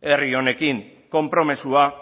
herri honekin konpromisoa